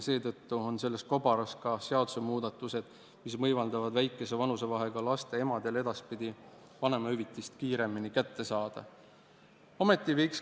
Seetõttu on selles kobaras ka muudatus, mis võimaldab väikese vanusevahega laste emadel edaspidi vanemahüvitise kiiremini kätte saada.